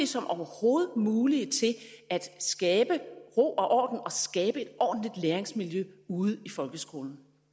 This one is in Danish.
som overhovedet muligt til at skabe ro og orden og skabe et ordentligt læringsmiljø ude i folkeskolen